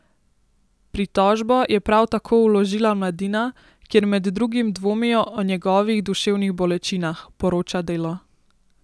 Pritožbo je prav tako vložila Mladina, kjer med drugim dvomijo o njegovih duševnih bolečinah, poroča Delo.